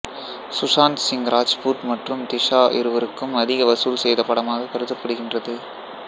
சுஷாந்த் சிங் ராஜ்புத் மற்றும் திஷா இருவருக்கும் அதிக வசூல் செய்த படமாக கருதப்படுகின்றது